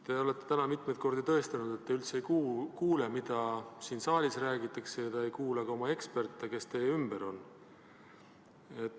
Te olete täna mitmeid kordi tõestanud, et te üldse ei kuule, mida siin saalis räägitakse, ja te ei kuula ka eksperte, kes teie ümber on.